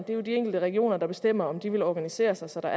jo de enkelte regioner der bestemmer om de vil organisere sig sådan